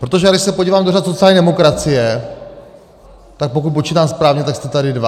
Protože když se podívám do řad sociální demokracie, tak pokud počítám správně, tak jste tady dva.